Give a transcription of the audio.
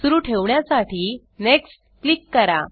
सुरू ठेवण्यासाठी next click करा